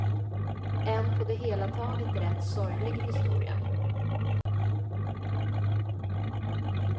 En på det hela taget rätt sorglig historia.